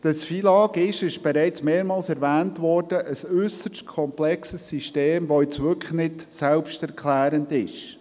Das FILAG, dies ist bereits mehrmals erwähnt worden, ist ein äusserst komplexes System, das nicht selbsterklärend ist.